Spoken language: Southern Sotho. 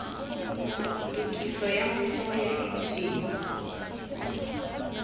tokiso ya motheo ya enjene